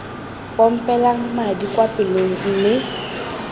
pompelang madi kwa pelong mme